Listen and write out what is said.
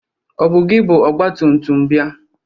Ọ bụ gị bụ ọgba tumtum bịa?